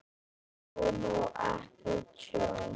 Tjón og ekki tjón?